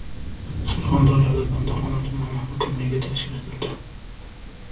Surxondaryoda Bandixon tumani hokimligi tashkil etildi.